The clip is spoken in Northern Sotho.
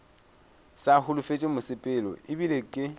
sa holofetše mosepelo ebile ke